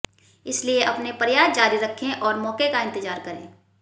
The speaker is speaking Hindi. इसलिए अपने प्रयास जारी रखें और मौके का इंतजार करें